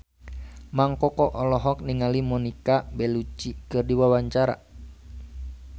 Mang Koko olohok ningali Monica Belluci keur diwawancara